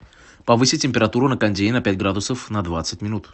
повысить температуру на кондее на пять градусов на двадцать минут